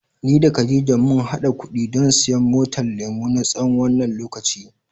Ni da Khadijah mun hada kuɗi don siyan motar lemu, na tsawon wannan lokacin.